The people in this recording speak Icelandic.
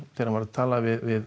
þegar hann var að tala við